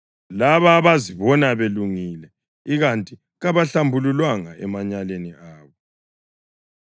labo abazibona belungile ikanti kabahlambululwanga emanyaleni abo;